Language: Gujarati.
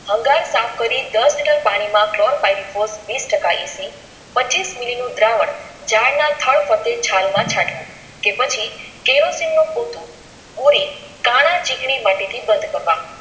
ભંગાર સાફ કરી દસ લિટર પાણી માં વીસ ટકા EC પેચીસ મીલી નું દ્રાવણ ઝાડના થડ ચાલ માં ચાટવું કે પછી કેરોસીન નું પોઠું બોડી કાના ચીકણી માટી પડકારવા.